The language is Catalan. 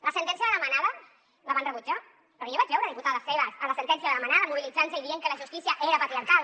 la sentència de la manada la van rebutjar perquè jo vaig veure diputades seves a la sentència de la manada mobilitzant se i dient que la justícia era patriarcal